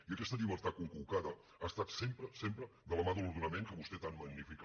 i aquesta llibertat conculcada ha estat sempre sempre de la mà de l’ordenament que vostè tant magnifica